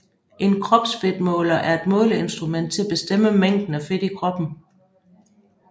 En kropsfedtmåler er et måleinstrument til at bestemme mængden af fedt i kroppen